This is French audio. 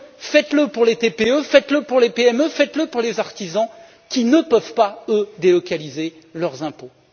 Faites le pour les TPE, faites le pour les PME, faites le pour les artisans, qui ne peuvent pas délocaliser leurs impôts!